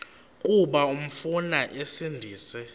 kuba umfana esindise